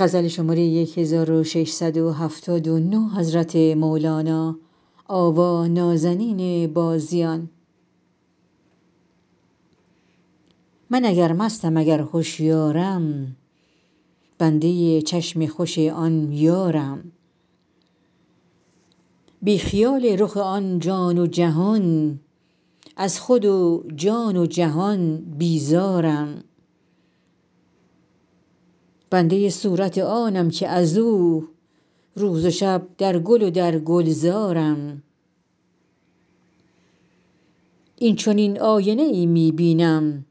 من اگر مستم اگر هشیارم بنده چشم خوش آن یارم بی خیال رخ آن جان و جهان از خود و جان و جهان بیزارم بنده صورت آنم که از او روز و شب در گل و در گلزارم این چنین آینه ای می بینم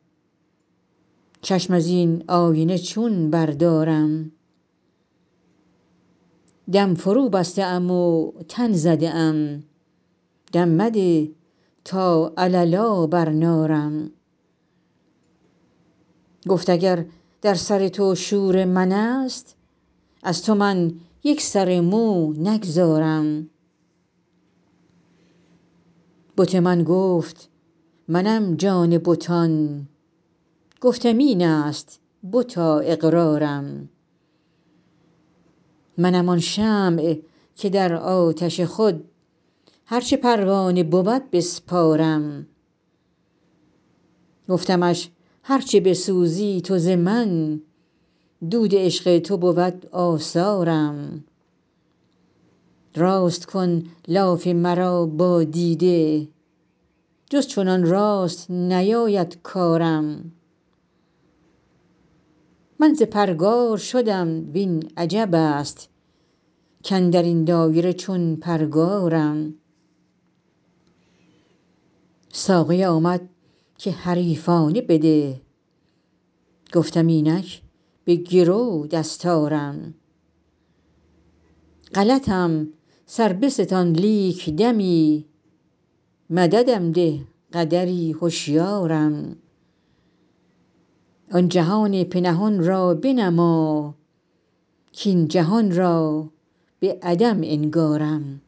چشم از این آینه چون بردارم دم فروبسته ام و تن زده ام دم مده تا علالا برنارم بت من گفت منم جان بتان گفتم این است بتا اقرارم گفت اگر در سر تو شور من است از تو من یک سر مو نگذارم منم آن شمع که در آتش خود هر چه پروانه بود بسپارم گفتمش هر چه بسوزی تو ز من دود عشق تو بود آثارم راست کن لاف مرا با دیده جز چنان راست نیاید کارم من ز پرگار شدم وین عجب است کاندر این دایره چون پرگارم ساقی آمد که حریفانه بده گفتم اینک به گرو دستارم غلطم سر بستان لیک دمی مددم ده قدری هشیارم آن جهان پنهان را بنما کاین جهان را به عدم انگارم